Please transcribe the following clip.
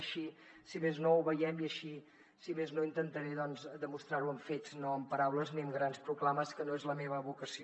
així si més no ho veiem i així si més no intentaré doncs demostrar ho amb fets no amb paraules ni amb grans proclames que no és la meva vocació